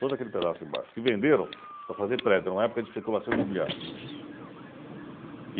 Todo aquele pedaço embaixo, que venderam para fazer prédio, era uma época de especulação imobiliária.